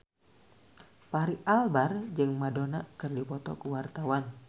Fachri Albar jeung Madonna keur dipoto ku wartawan